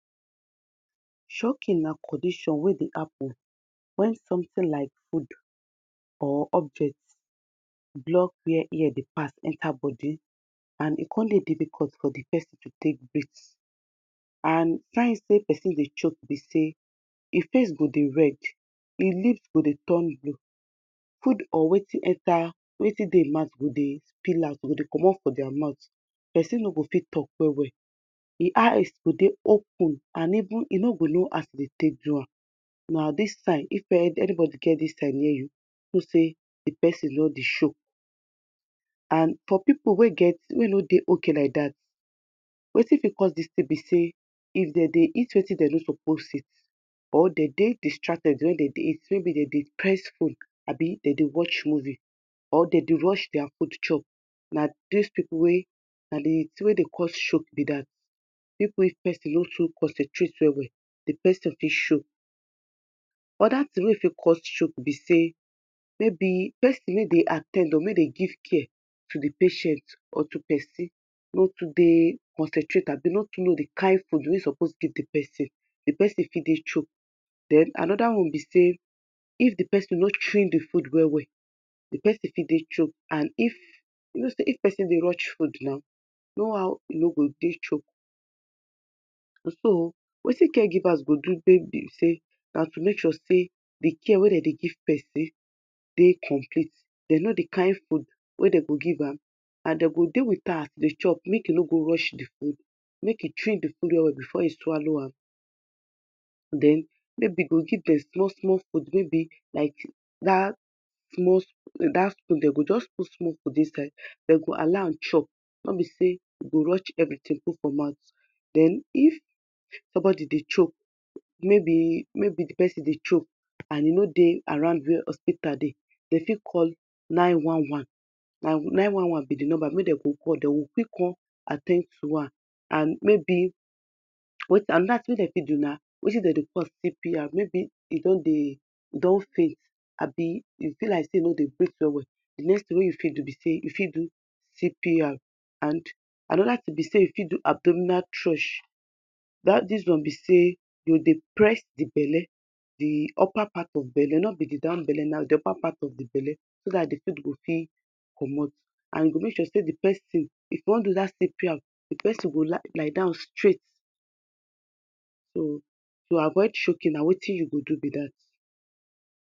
Choking na condition wey dey happen when something like food or object block where air dey pass enter body and e con dey difficult for di person to con breath and signs say person dey choke bí say e face go dey red, ẹ lip go dey turn blue, food or wetin dey e mouth go dey peel out, e go dey commot for día mouth, person ni go fit talk well well, e eyes go dey open and even e ni go know as e dey take do am, na dis sign, if another get dis sign near you, know say di person don dey choke and for people wey e no dey okay like dat wetin bí cos di tin be say if dem dey eat wetin dem no suppose eat, or dem dey distracted when dem dey eat or maybe dem dey press phone or dem dey watch movie, dem dey rush their food chop, na dis people wey, na di tin wey dey cos choke bí dat, people wey person no fit concentrate well well di person fit choke, other tin wey fit cos choke bí say, maybe person wey dey at ten d or may dey give care to di patient or to di person no too dey concentrate or no too know di kind position wey e suppose put di person, di person fit dey choke den another one bi say if di person no chewing di food well well, di person fit dey choke and if, you know say if person dey rush food now, no how e no go dey choke so, wetin caregivers go do take bi say, na to make sure say di care wey dem dey give person dey complete, dem no di kind food wey dem go give am and dem go make sure say dem dey with am when he dey chop make e no go rush di food, make e chew di food well well before e swallow am den maybe e o give dem small small food like dat small, dat spoon, dem go just put small food for inside, dem go allow am chop no bi say e go rush everything put for mouth. Den if somebody dey choke, maybe di person dey choke and e no dey around where hospita dey, dem fit call nine one one, na nine one one bí di number wey dem go call, d go still con at ten d to her and maybe, another tin wey dem fit do na wetin dem dry call CPR, maybe e don dey, ẹ don faint abi e bi like say e no dey breath well well, di tin wey you fit do na, you fit do CPR, and another tin you fit do na say you fit do abdominal trush, dat deals on bi say you go dey press di belle, di upper part of belle no bi the down belle, di upper part of di belle so Dat si food go quick commot and make sure say if you won do CPR, di person go lie down straight to avoid choking, na wetin you go do bí dat